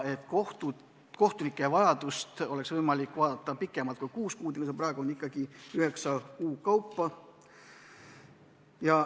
Kohtunike vajadust on sel juhul võimalik vaadelda pikemalt kui kuus kuud, üheksa kuu kaupa.